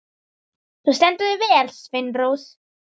Þú stendur þig vel, Sveinrós!